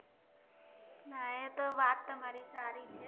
ના એતો વાત તમારી સારી છે